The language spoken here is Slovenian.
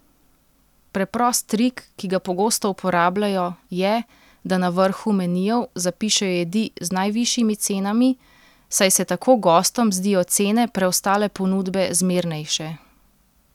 Preprost trik, ki ga pogosto uporabljajo, je, da na vrhu menijev zapišejo jedi z najvišjimi cenami, saj se tako gostom zdijo cene preostale ponudbe zmernejše.